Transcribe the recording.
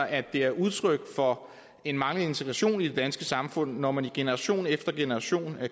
at det er udtryk for en manglende integration i det danske samfund når man i generation efter generation